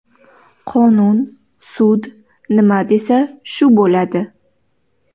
Qonun, sud nima desa shu bo‘ladi.